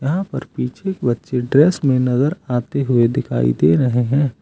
यहां पर पीछे एक बच्चे ड्रेस में नजर आते हुए दिखाई दे रहे हैं।